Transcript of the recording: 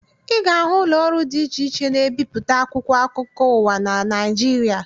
Ị ga-ahụ ụlọọrụ dị iche iche na-ebipụta akwụkwọ akụkọ ụwa na Naịjirịa